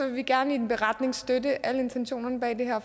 vi gerne i en beretning støtte alle intentionerne bag det her